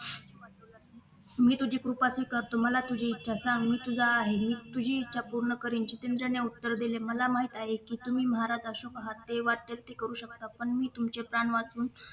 मी तुझी कृपा स्वीकारतो मला तुझी इच्छा सांग मी तुझा आहे मी तुझी इच्छा पूर्ण करिन जितेंद्रने उत्तर दिले मला माहित आहे कि तुम्ही महाराज अशोक आहात जे वाटेल ते करू शकता पण मी तुमचे प्राण वाचवून